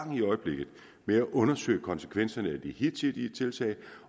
med at undersøge konsekvenserne af de hidtidige tiltag